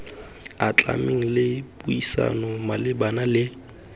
atlhameng le puisano malebana le